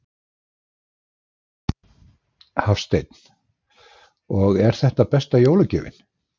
Hafsteinn: Og er þetta besta jólagjöfin?